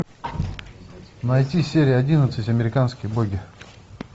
найти серия одиннадцать американские боги